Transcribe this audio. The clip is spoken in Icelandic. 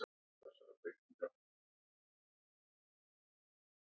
Sigvaldason, Benedikt Steingrímsson, Valgarður